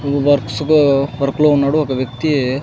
ఈ works co work లో ఉన్నాడు ఒక వ్యక్తి --